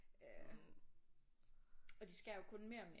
Og de skærer jo kun mere og mere